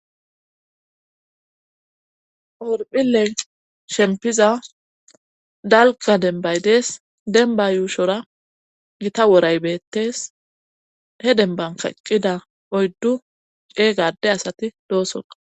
orphiley shempiza dalka dembaydees denba yuushora gita woray beettes he dembanka eqqida oyddu ceega ade asati doosota